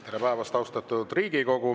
Tere päevast, austatud Riigikogu!